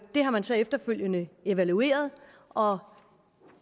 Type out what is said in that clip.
har man så efterfølgende evalueret og